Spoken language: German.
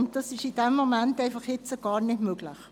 Und das ist zurzeit nicht möglich.